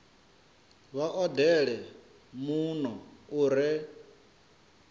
vha odele muno u re